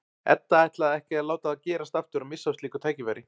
Edda ætlar ekki að láta það gerast aftur að missa af slíku tækifæri.